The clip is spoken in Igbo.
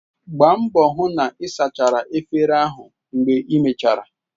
Gbaa mbọ hụ na ị sachara efere ahụ mgbe imechara!